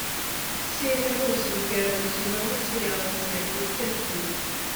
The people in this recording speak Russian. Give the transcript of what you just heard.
серия восемь первого сезона сериала сверхъестественное